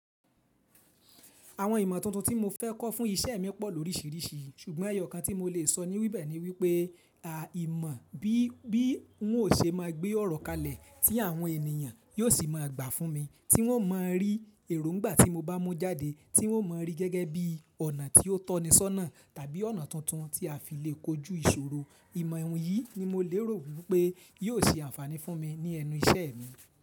Àwọn ìmọ̀ tuntun tí mo fẹ́ kọ́ fún iṣẹ́ mi pọ̀ lóríṣìíríṣìí ṣùgbọ́n ẹyọ kan tí mo lè sọ níwibẹ̀ ni wípé, à imọ̀ bí, bí ń ò ṣe máa gbé ọ̀rọ̀ kalẹ̀ tí àwọn ènìyàn yóò sì máa gbà fún mi tí wọ́n má rí èròńgbà tí mo bá mú jáde, tí wọ́n má rí gẹ́gẹ́ bí ọ̀nà tí ó tọ̀ni sọ́nà tàbí ọ̀nà tuntun tí a fi lè kojú ìṣòro. Ìmọ̀ ìwọ̀nyí ni mo lè rò wípé yíò ṣe ànfàní fún mi ní ẹnu iṣẹ́ mi.